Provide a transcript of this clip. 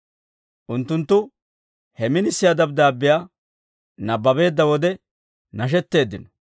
Unttunttu he minisiyaa dabddaabbiyaa nabbabeedda wode, nashetteeddino.